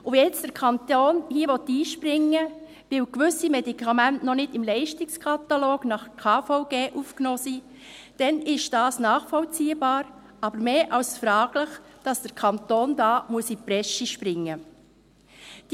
Wenn jetzt der Kanton hier einspringen will, weil gewisse Medikamente noch nicht im Leistungskatalog nach KVG aufgenommen wurden, ist dies nachvollziehbar, aber mehr als fraglich, dass der Kanton hier in die Presche springen muss.